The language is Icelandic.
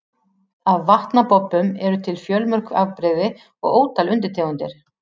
Af vatnabobbum eru til fjölmörg afbrigði og ótal undirtegundir.